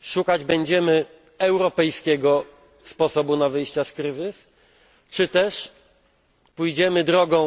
szukać będziemy europejskiego sposobu na wyjście z kryzysu, czy też pójdziemy drogą